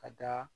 Ka da